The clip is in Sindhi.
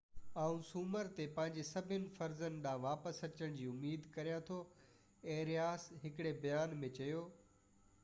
آئون سومر تي پنھنجي سڀني فرضن ڏانھن واپس اچڻ جي اميد ڪريان ٿو ايرياس ھڪڙي بيان ۾ چيو